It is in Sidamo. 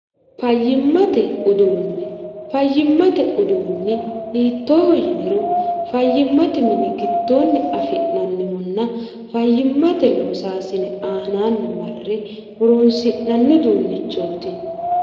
fayyimmate uduunni fayyimmate uduunni hiittooho yiniro fayyimmate mini gittoonni afi'nannihunna fayyimmate loosaasine aanaanni marre horoonsi'nanni duunnichooti